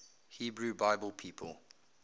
hebrew bible people